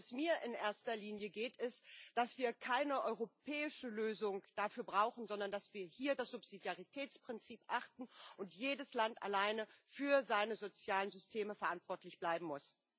Worum es mir in erster Linie geht, ist, dass wir keine europäische Lösung dafür brauchen, sondern dass wir hier das Subsidiaritätsprinzip achten und jedes Land alleine für seine sozialen Systeme verantwortlich bleiben muss.